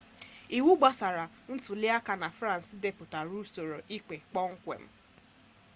iwu gbasara ntuliaka na frans depụtara usoro ikpe kpọmkwem